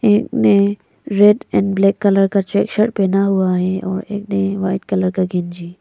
एक ने red and black colour का चेक शर्ट पहना हुआ है और एक ने व्हाइट कलर का गंजी --